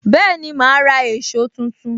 Bẹẹni, ma ra èsó tuntun